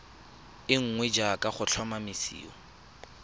e nngwe jaaka go tlhomamisiwa